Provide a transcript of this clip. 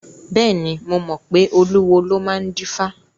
Bẹ́ẹ̀ni, mo mọ pé olúwo ló máa ń dífá.